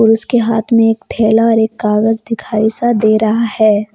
और उसके हाथ में एक थैला और कागज दिखाई सा दे रहा है।